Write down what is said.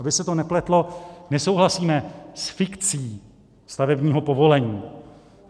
Aby se to nepletlo, nesouhlasíme s fikcí stavebního povolení.